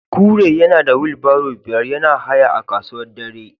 Kure yana da wheelbarrow biyar yana haya a kasuwa dare